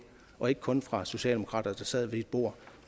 var ikke kun fra socialdemokrater der sad med ved et bord